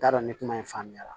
N t'a dɔn ni kuma in faamuyara